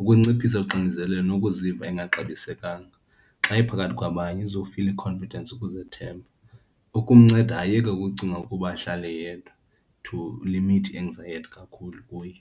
Ukunciphisa uxinezelelo nokuziva engaxabisekanga. Xa ephakathi kwabanye uzofila i-confidence, ukuzethemba, ukumnceda ayeke ukucinga ukuba ahlale yedwa to limit i-anxiety kakhulu kuye.